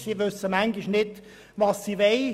Die Spitex weiss manchmal nicht, was sie will.